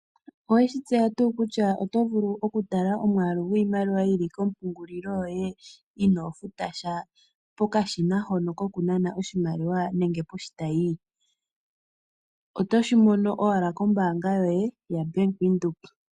Oweshi tseya tuu kutya oto vulu okutala omwaalu gwiimaliwa yi li koompungulilo dhoye inoo futasha kokashina hono kokunana iimaliwa, nenge poshitayi? Otoshi mono owala kombaanga yoye yoBank Windhoek.